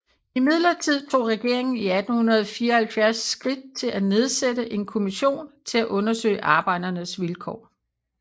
Imidlertid tog regeringen i 1874 skridt til at nedsætte en kommission til at undersøge arbejdernes vilkår